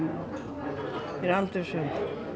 ég er aldrei svöng